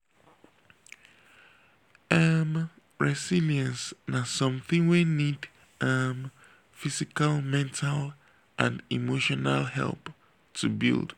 um resilience na somthing wey need um physical mental and emotional help to build.